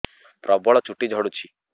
ପ୍ରବଳ ଚୁଟି ଝଡୁଛି